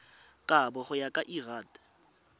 kabo go ya ka lrad